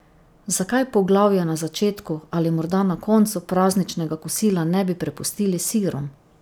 Zakaj poglavja na začetku ali morda na koncu prazničnega kosila ne bi prepustili sirom?